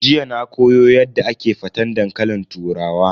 Jiya na koyo Yadda ake faten dankalin turawa.